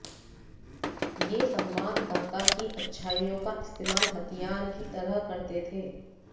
वे संवाददाता की अच्छाइयों का इस्तेमाल हथियार की तरह करते थे